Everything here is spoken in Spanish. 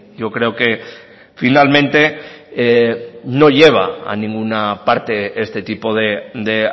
yo creo que finalmente no lleva a ninguna parte este tipo de